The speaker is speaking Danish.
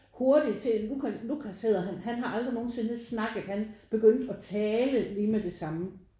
Hurtig til Lukas Lukas hedder han. Han har aldrig nogensinde snakket han begyndte at tale lige med det samme